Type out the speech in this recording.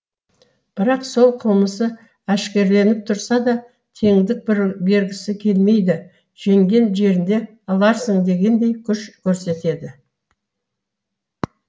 бірақ ол қылмысы әшкереленіп тұрса да теңдік бергісі келмейді жеңген жеріңде аларсың дегендей күш көрсетеді